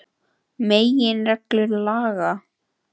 Meginreglur laga.